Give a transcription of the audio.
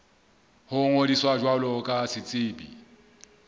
ho ngodisa jwalo ka setsebi